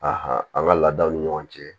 an ka laadaw ni ɲɔgɔn cɛ